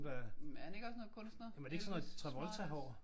Jamen er han ikke også sådan noget kunstner? Det er jo også smart